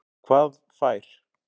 Hvað fær